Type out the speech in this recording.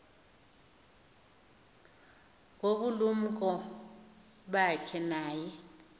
ngobulumko bakhe naye